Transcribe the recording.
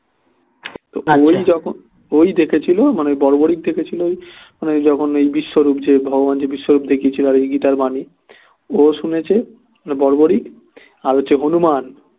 ওই যখন ওই দেখেছিল মানে বর্বরী দেখেছিল ওই মানে যখন ওই বিশ্বরূপ যে ভগবান যে বিশ্বরূপ দেখিয়েছিল আর কি গীতার বাণী ও শুনেছে বর্বরী আর হচ্ছে হনূমান